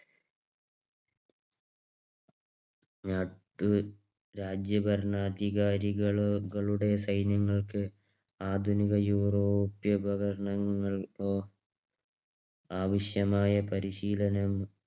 നാട്ടു രാജ്യ ഭരണാധികാരികളുടെ സൈനങൾക്ക് ആധുനിക യൂറോപ്യ ഉപകരണങ്ങൾ ആവശ്യമായ പരിശീല